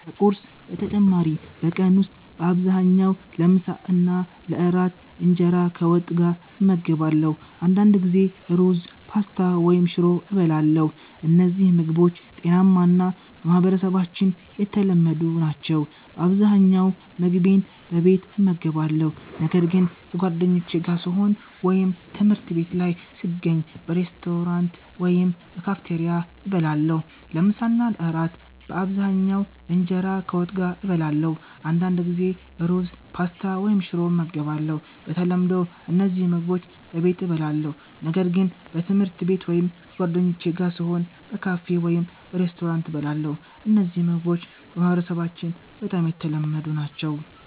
ከቁርስ በተጨማሪ በቀን ውስጥ በአብዛኛው ለምሳና ለእራት እንጀራ ከወጥ ጋር እመገባለሁ። አንዳንድ ጊዜ ሩዝ፣ ፓስታ ወይም ሽሮ እበላለሁ። እነዚህ ምግቦች ጤናማ እና በማህበረሰባችን የተለመዱ ናቸው። በአብዛኛው ምግቤን በቤት እመገባለሁ፣ ነገር ግን ከጓደኞቼ ጋር ስሆን ወይም ትምህርት ቤት ላይ ስገኝ በሬስቶራንት ወይም በካፌቴሪያ እበላለሁ። ለምሳ እና ለእራት በአብዛኛው እንጀራ ከወጥ ጋር እበላለሁ። አንዳንድ ጊዜ ሩዝ፣ ፓስታ ወይም ሽሮ ይመገባሉ። በተለምዶ እነዚህ ምግቦች በቤት እበላለሁ፣ ነገር ግን በትምህርት ቤት ወይም ከጓደኞቼ ጋር ስሆን በካፌ ወይም በሬስቶራንት እበላለሁ። እነዚህ ምግቦች በማህበረሰባችን በጣም የተለመዱ ናቸው።